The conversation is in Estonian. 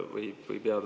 Kindlasti mitte.